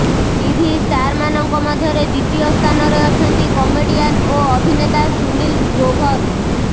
TV ଷ୍ଟାର୍ମାନଙ୍କ ମଧ୍ୟରେ ଦ୍ୱିତୀୟ ସ୍ଥାନରେ ଅଛନ୍ତି କମେଡିଆନ୍ ଓ ଅଭିନେତା ସୁନୀଲ୍ ଗ୍ରୋଭର